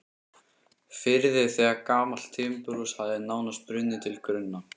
firði þegar gamalt timburhús hafði nánast brunnið til grunna.